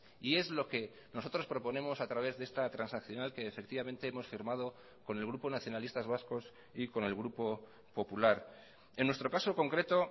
y es lo que nosotros proponemos a través de esta transaccional que efectivamente hemos firmado con el grupo nacionalistas vascos y con el grupo popular en nuestro caso concreto